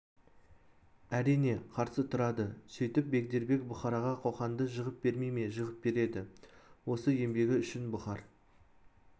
әрине қарсы тұрады сөйтіп бегдербек бұхараға қоқанды жығып бермей ме жығып береді осы еңбегі үшін бұхар